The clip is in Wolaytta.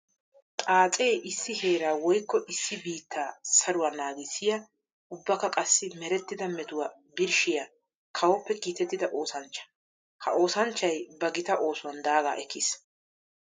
Xaace issi heera woykko issi biitta saruwa naagissiya ubbakka qassi meretidda metuwa birshshiya kawoppe kiitettidda oosanchcha. Ha oosanchchay ba gita oosuwan daaga ekkiis.